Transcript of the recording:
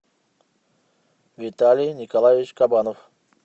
виталий николаевич кабанов